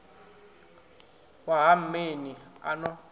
wa ha mmeni a no